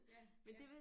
Ja ja